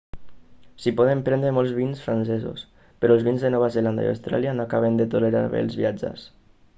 s'hi poden prendre molts vins francesos però els vins de nova zelanda i austràlia no acaben de tolerar bé els viatges